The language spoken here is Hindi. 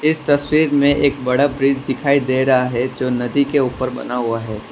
इस तस्वीर में एक बड़ा ब्रिज दिखाई दे रहा है जो नदी के ऊपर बना हुआ है।